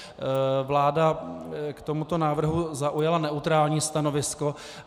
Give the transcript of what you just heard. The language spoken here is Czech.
Vláda k tomuto návrhu zaujala neutrální stanovisko.